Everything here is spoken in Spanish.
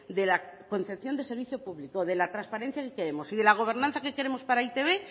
de la concepción de servicio público de la transparencia que queremos y de la gobernanza que queremos para e i te be